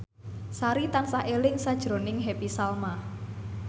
Sari tansah eling sakjroning Happy Salma